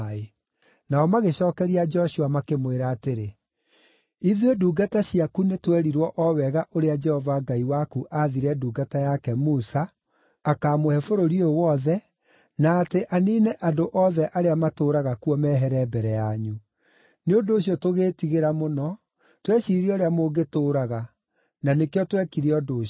Nao magĩcookeria Joshua makĩmwĩra atĩrĩ, “Ithuĩ ndungata ciaku nĩtwerirwo o wega ũrĩa Jehova Ngai waku aathire ndungata yake Musa akamũhe bũrũri ũyũ wothe, na atĩ aniine andũ othe arĩa matũũraga kuo mehere mbere yanyu. Nĩ ũndũ ũcio tũgĩĩtigĩra mũno, tweciria ũrĩa mũngĩtũũraga, na nĩkĩo twekire ũndũ ũcio.